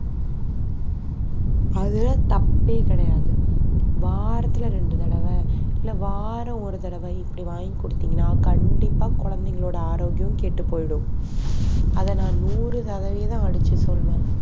அதுல தப்பே கிடையாது வாரத்துல ரெண்டு தடவ இல்ல வாரம் ஒரு தடவை இப்படி வாங்கி கொடுத்தீங்கன்னா கண்டிப்பா குழந்தைங்களோட ஆரோக்கியம் கெட்டுப் போயிடும் அதை நான் நூறு சதவீதம் அடிச்சு சொல்லுவேன்